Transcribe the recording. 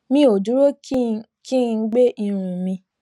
mi ò dúró kí n kí n gbẹ irun mi